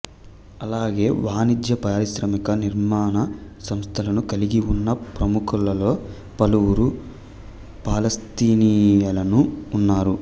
అలాగే వాణిజ్య పారిశ్రామిక నిర్మాణ సంస్థలను కలిగిఉన్న ప్రముఖులలో పలువురు పాలస్తీనియన్లు ఉన్నారు